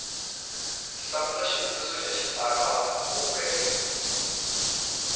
hlamula xivutiso xa xitsalwana kumbe